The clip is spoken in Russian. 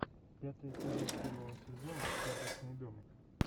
пятый эпизод первого сезона карточный домик